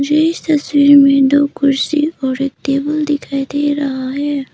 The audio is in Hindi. मुझे इस तस्वीर में दो कुर्सी और एक टेबल दिखाई दे रहा है।